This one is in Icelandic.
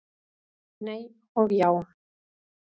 Nei og já!